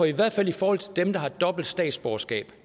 i hvert fald i forhold til dem der har dobbelt statsborgerskab